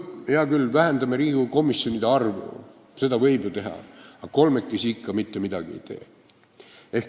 Hea küll, vähendame Riigikogu komisjonide arvu, seda võib ju teha, aga kolmekesi ikka mitte midagi ära ei tee.